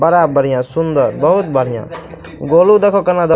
बड़ा बढ़िया सुन्दर बहुत बढ़िया गोलू देखाे केना --